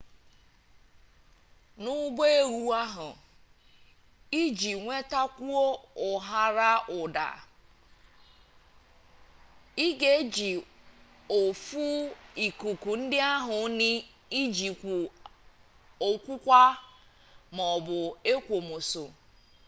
n'ụbọ ehwu ahụ iji nwetakwuo ụharaụda ị ga-eji ọfụ ikuku ndị ahụ n'ijikwu ọkwụkwa ma ọ bụ ekwomọsọ